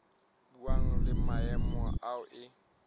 buang le maemo ao e